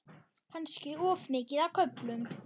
Kannski of mikið á köflum.